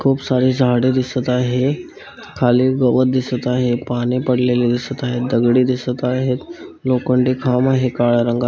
खूप सारे झाडे दिसत आहे खाली गवत दिसत आहे पाणी पडलेले दिसत आहे दगडे दिसत आहेत लोखंडी खांब आहे काळ्या रंगा--